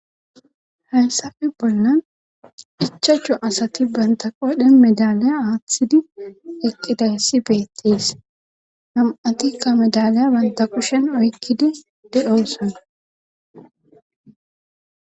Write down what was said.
Hayssafe bollanc ichachu asati banta qodhe medaley aaththidi eqqidayssi beettis nam7atikka medaliya banta qushen oykkidi de7osona.